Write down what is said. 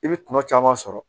I bɛ kuma caman sɔrɔ